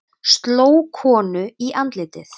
Sló konu í andlitið